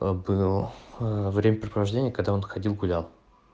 а был время провождения когда он ходил гулял